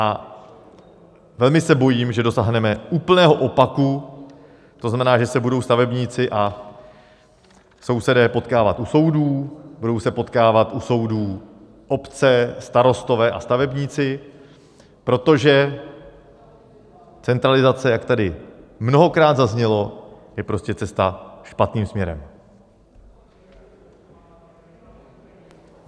A velmi se bojím, že dosáhneme úplného opaku, to znamená, že se budou stavebníci a sousedé potkávat u soudů, budou se potkávat u soudů obce, starostové a stavebníci, protože centralizace, jak tady mnohokrát zaznělo, je prostě cesta špatným směrem.